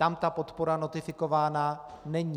Tam ta podpora notifikována není.